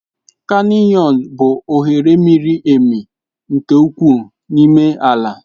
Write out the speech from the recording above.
Kanịọns bụ oghere miri emi nke ukwuu n'ime ala.